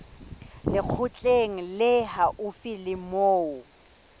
lekgotleng le haufi le moo